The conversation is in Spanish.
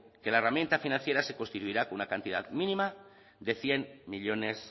que la herramienta financiera se constituirá con una cantidad mínima de cien millónes